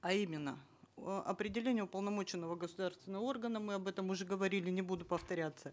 а именно э определение уполномоченного государственного органа мы об этом уже говорили не буду повторяться